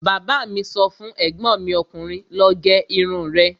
Bàbá mi sọ fún ègbọ́n mi ọkùnrin 'lọ gé irun rẹ'